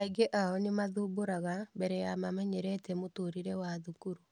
Aingĩ ao nĩ mathumbũraga mbere ya mamenyerete mũtũrĩre wa thukuru.